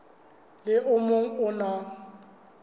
le o mong o na